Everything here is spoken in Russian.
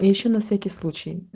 ещё на всякий случай